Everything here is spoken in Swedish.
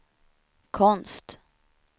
konst